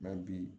bi